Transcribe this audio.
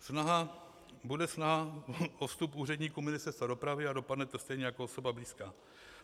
Bude snaha o vstup úředníků Ministerstva dopravy a dopadne to stejně jako osoba blízká.